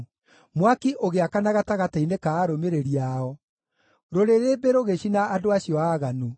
Mwaki ũgĩakana gatagatĩ-inĩ ka arũmĩrĩri ao; rũrĩrĩmbĩ rũgĩcina andũ acio aaganu.